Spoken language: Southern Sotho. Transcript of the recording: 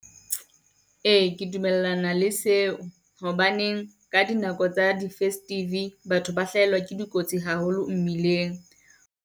Ee ke dumellana le seo, hobane ka dinako tsa di festive, batho ba hlahelwa ke dikotsi haholo mmileng.